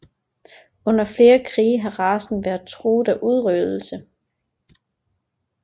Under flere krige har racen været truet af udryddelse